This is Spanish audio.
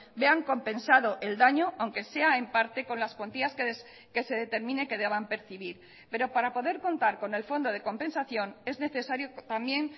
vean compensado el daño aunque sea en parte con las cuantías que se determine que deban percibir pero para poder contar con el fondo de compensación es necesario también